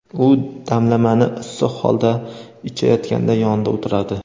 u damlamani issiq holda ichayotganda yonida o‘tiradi.